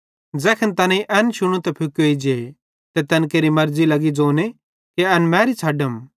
ज़ैखन तैनेईं एन शुनू त फुकोई जे ते तैन केरि मर्ज़ी लगी ज़ोने कि एन मैरी छ़डम